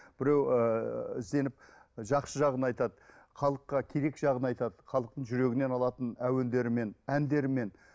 біреу ыыы сеніп жақсы жағын айтады халыққа керек жағын айтады халықтың жүрегінен алатын әуендерімен әндерімен